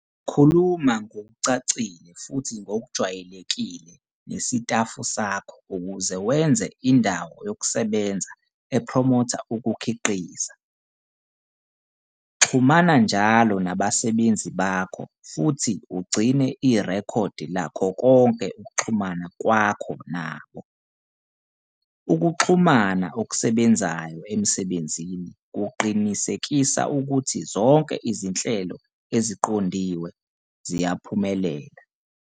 Khuluma ngokucacile futhi ngokwejwayelekile nesitafu sakho ukuze wenze indawo yokusebenza ephromotha ukukhiqiza. Xhumana njalo nabasebenzi bakho futhi ugcine irekhodi lakho konke ukuxhumana kwakho nabo. Ukuxhumana okusebenzayo emsebenzini kuqinisekisa ukuthi zonke izinhlelo eziqondiwe ziyaphumelela.